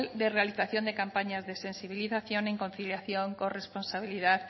de realización de campañas de sensibilización en conciliación con responsabilidad